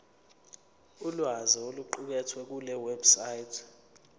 ulwazi oluqukethwe kulewebsite